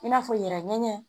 I n'a fɔ yɛrɛ ŋɛɲɛ